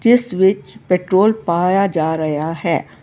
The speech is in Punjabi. ਇਸ ਵਿੱਚ ਪੈਟਰੋਲ ਪਾਇਆ ਜਾ ਰਿਹਾ ਹੈ।